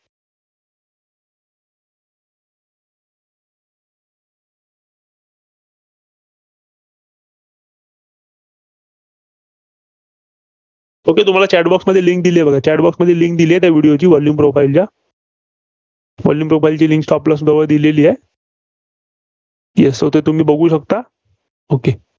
okay तुम्हाला Chat box मध्ये link दिली आहे बघा. Chat box मध्ये link दिलीय त्या video ची volume profile च्या. volume profile ची link stop loss बरोबर दिलेली आहे. yes तुम्ही बघू शकता. okay